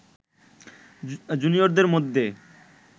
জুনিয়রদের মধ্যে